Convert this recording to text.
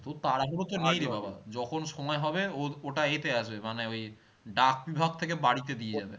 তোর তাড়াহুড়ো তো যখন সময় হবে ও ওটা এতে আসবে মানে ওই ডাক বিভাগ থেকে বাড়িতে দিয়ে যাবে